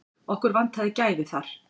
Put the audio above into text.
Okkur vantaði gæði þar.